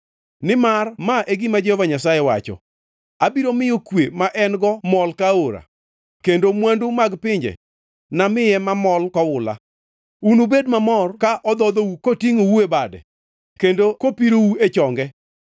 Nimar ma e gima Jehova Nyasaye wacho: “Abiro miyo kwe ma en-go mol ka aora kendo mwandu mag pinje namiye mamol ka oula; unubed mamor ka odhodhou kotingʼou e bade kendo kopirou e chonge.